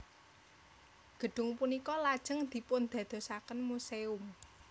Gedhung punika lajeng dipundadosaken muséum